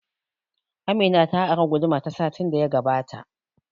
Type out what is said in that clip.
Amina ta ari guduma ta satin da ya gabata